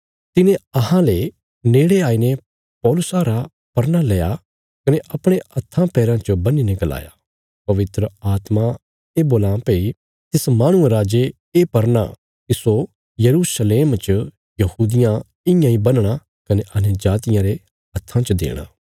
तिने अहांले नेड़े आईने पौलुसा रा परना लया कने अपणे हत्था पैराँ च बन्हीने गलाया पवित्र आत्मा ये बोलां भई तिस माहणुये रा जे ये परना तिस्सो यरूशलेम च यहूदियां इयां इ बन्हणा कने अन्यजातियां रे हत्था च देणा